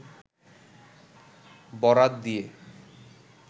বরাত দিয়ে